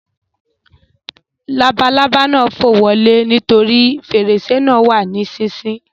Labalábá náà fò wọlé nítorí fèrèsé náà wà ní sísí